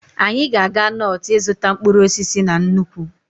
Anyị ga-aga Notu ịzụta mkpụrụ osisi na nnukwu.